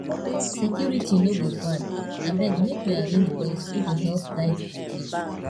security no go bad abeg make we arrange boys wey go help guide di place